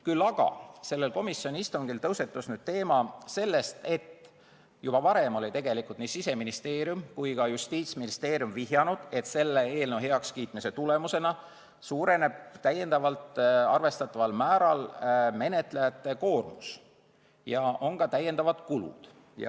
Küll aga tõusetus sellel korral teema, et juba varem olid nii Siseministeerium kui ka Justiitsministeerium vihjanud, et selle eelnõu heakskiitmise tulemusena suureneb arvestataval määral menetlejate koormus ja on ka lisakulud.